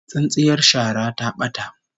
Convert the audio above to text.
Tsintsiyar shara ta bata